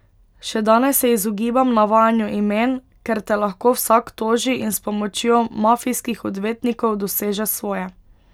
Še danes se izogibam navajanju imen, ker te lahko vsak toži in s pomočjo mafijskih odvetnikov doseže svoje.